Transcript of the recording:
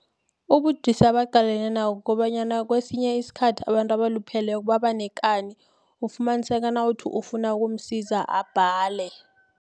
Ubudisi abaqalene nabo kobanyana kwesinye isikhathi abantu abalupheleko babanekani ufumaniseka nawuthi ufuna ukumsiza abhale.